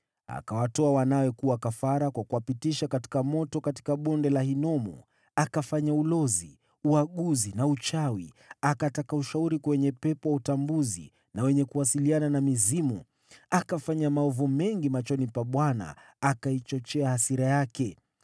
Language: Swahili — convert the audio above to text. Akawatoa wanawe kuwa kafara kwa kuwapitisha katika moto katika Bonde la Ben-Hinomu, akafanya ulozi, uaguzi na uchawi, akataka ushauri kwa wenye pepo wa utambuzi na wenye kuwasiliana na mizimu. Akafanya maovu mengi machoni pa Bwana , akaichochea hasira yake.